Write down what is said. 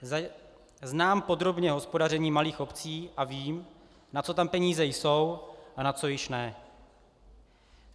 Znám podrobně hospodaření malých obcí a vím, na co tam peníze jsou a na co již ne.